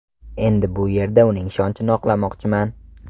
Endi bu yerda uning ishonchini oqlamoqchiman.